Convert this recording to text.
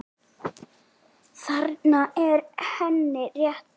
Þarna er henni rétt lýst.